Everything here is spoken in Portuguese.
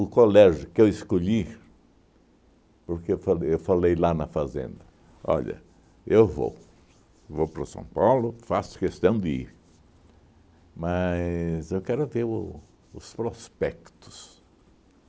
colégio que eu escolhi, porque eu falei eu falei lá na Fazenda, olha, eu vou, vou para o São Paulo, faço questão de ir, mas eu quero ver o os prospectos.